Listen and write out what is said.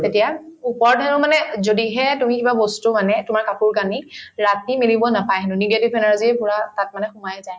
তেতিয়া মানে যদিহে তুমি কিবা বস্তু মানে তোমাৰ কাপোৰ-কানি ৰাতি মেলিব নাপাই হেনু negative energy পূৰা তাত মানে সোমাই যায়